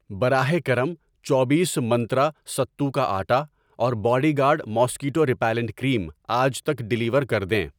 براہ کرم، چوبیس منترا ستو کا آٹا اور bodyguard mosquito repellent cream آج تک ڈیلیور کر دیں۔